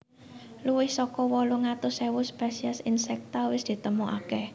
Luwih saka wolung atus ewu spesies insekta wis ditemoaké